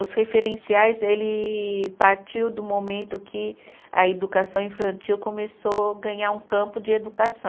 Os referenciais, ele partiu do momento que a educação infantil começou ganhar um campo de educação.